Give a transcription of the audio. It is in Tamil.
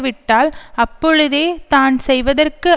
விட்டால் அப்பொழுதே தான் செய்வதற்கு